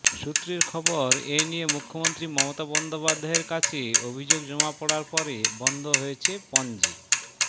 সূত্রের খবর এ নিয়ে মুখ্যমন্ত্রী মমতা বন্দ্যোপাধ্যায়ের কাছে অভিযোগ জমা পড়ার পরে বন্ধ হয়েছে পনজি